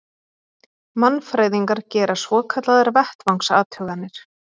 Mannfræðingar gera svokallaðar vettvangsathuganir.